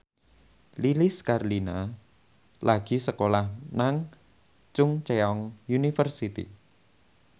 Lilis Karlina lagi sekolah nang Chungceong University